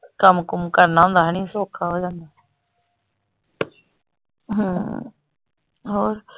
ਕੰਮ ਕੁਮ ਕਰਨਾ ਹੁੰਦਾ ਹਨੀ ਸੌਖਾ ਹੋ ਜਾਂਦਾ ਹਮ ਹੋਰ।